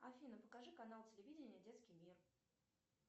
афина покажи канал телевидения детский мир